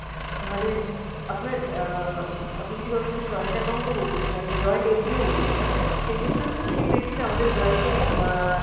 নাহলে আপনার অ্যাঁ আপনি যদি কারোর সাথে joint account ও করতে চান মানে joint FD ও করতে চান সেই ক্ষেত্রেও কিন্তু সেই ব্যাক্তির আমাদের bank এ একা~